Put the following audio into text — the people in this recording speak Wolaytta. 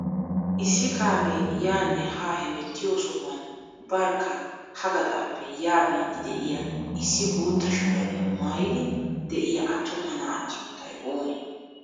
Issi kaamee yaanne haa hemettiyoo sohuwaan barkka ha gaxaappe yaa biidi de'iyaa issi bootta shuraabiyaa maayidi de'iyaa attuma na'aa sunttay oonee?